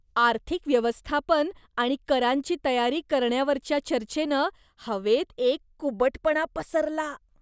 आर्थिक व्यवस्थापन आणि करांची तयारी करण्यावरच्या चर्चेनं हवेत एक कुबटपणा पसरला.